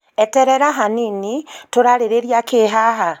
eterera hanini, tũrarĩrĩria kĩĩ haha